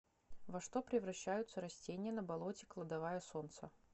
во что превращаются растения на болоте кладовая солнца